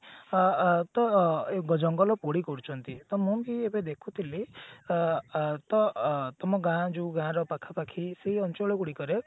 ଅ ଅ ତ ଜଙ୍ଗଲ ପୋଡି କରୁଛନ୍ତି ତ ମୁଁ ବି ଏଇଟା ଦେଖୁ ଥିଲି ଅ ଅ ତ ଅ ତମ ଗାଁ ଯୋଉ ଗାଁର ପାଖାପାଖି ସେଇ ଅଞ୍ଚଳ ଗୁଡିକରେ